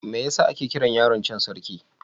Me yasa ake kiran yaron can Sarki?